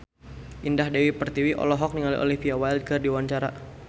Indah Dewi Pertiwi olohok ningali Olivia Wilde keur diwawancara